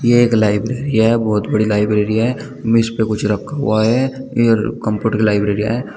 ये एक लाइब्रेरी है बहुत बड़ी लाइब्रेरी है मेज पे कुछ रखा हुआ है ये एयर कम्फर्ट की लाइब्रेरीयां है।